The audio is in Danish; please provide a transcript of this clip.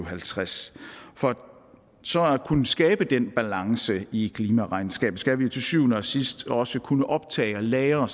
og halvtreds for så at kunne skabe den balance i klimaregnskabet skal vi til syvende og sidst også kunne optage og lagre